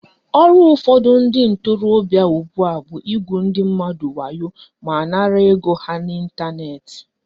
Ọrụ ụfọdụ ndị ntorobịa ugbua bụ igwu ndị mmadụ wayo ma nara ego ha n'Ịntanet